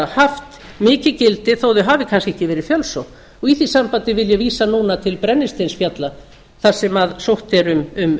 haft mikið gildi þó að þau hafi kannski ekki verið fjölsótt í því sambandi vil ég vísa núna til brennisteinsfjalla þar sem sótt er um